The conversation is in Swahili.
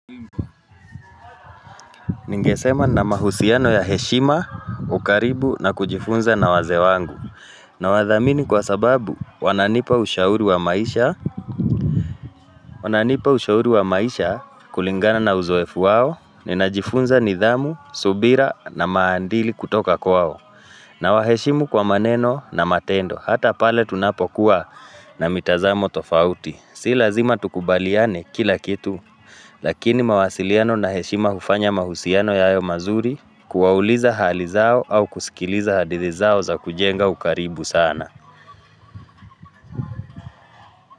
Ningesema na mahusiano ya heshima ukaribu na kujifunza na wazee wangu Nawadhamini kwa sababu wananipa ushauri wa maisha. Wananipa ushauri wa maisha kulingana na uzoefu wao. Ninajifunza nidhamu, subira na maadili kutoka kwao Nawaheshimu kwa maneno na matendo. Hata pale tunapokuwa na mitazamo tofauti Si lazima tukubaliane kila kitu Lakini mawasiliano na heshima hufanya mahusiano yawe mazuri kuwauliza hali zao au kusikiliza hadithi zao za kujenga ukaribu sana.